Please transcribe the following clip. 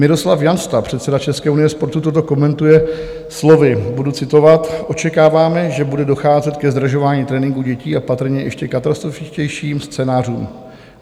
Miroslav Jansta, předseda České unie sportu, toto komentuje slovy, budu citovat: "Očekáváme, že bude docházet ke zdražování tréninku dětí a patrně ještě katastrofičtějším scénářům.